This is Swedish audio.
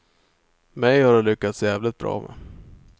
Mig har de lyckats jävligt bra med.